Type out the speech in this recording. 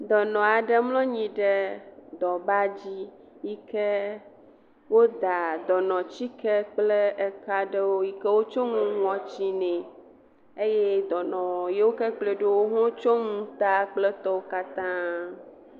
Dɔnɔ aɖe mlɔ anyi ɖe dɔbadi yi ke woda dɔnɔtsike kle eka aɖewo yi ke wotso nu ŋɔtsi nɛ eye dɔnɔ yiwo ke kplɔe ɖo wotso nu ta kple tɔwo katã.